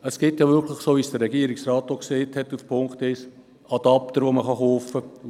Es gibt, wie es der Regierungsrat auch gesagt hat, Adapter, die man kaufen kann.